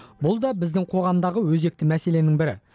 бұл да біздің қоғамдағы өзекті мәселенің бірі